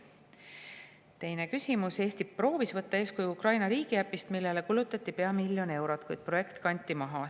Teine küsimus: "Eesti proovis võtta eeskuju Ukraina riigiäpist, millele kulutati pea miljon eurot, kuid projekt kanti maha.